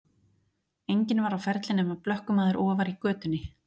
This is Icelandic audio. Enginn var á ferli nema blökkumaður ofar í götunni.